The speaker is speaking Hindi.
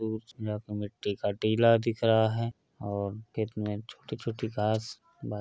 मिट्टी का टीला दिख रहा है और खेत में छोटी छोटी घास बाजू --